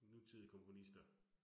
Nutidige komponister